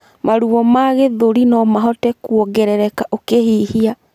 Maruo ma gĩthũri nomahote kũongerereka ũkihihia